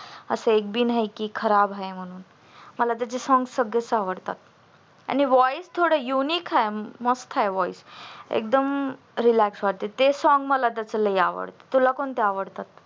असे एक बि नाही की खराब आहे म्हणून मला त्याचे songs सगळेच आवडतात आणि voice थोड unique आहे मस्त आहे voice एकदम relax वाटत ते सोंग मला लई आवडत तुला कुठल आवडत